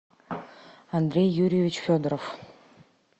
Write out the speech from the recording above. андрей юрьевич федоров